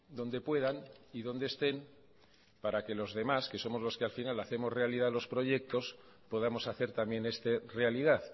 donde puedan y donde estén para que los demás que somos los que al final hacemos realidad los proyectos podamos hacer también este realidad